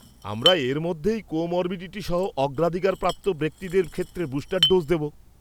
আমরা এরই মধ্যে কোমরবিডিটি সহ অগ্রাধিকারপ্রাপ্ত ব্যক্তিদের ক্ষেত্রে বুস্টার ডোজ দেব।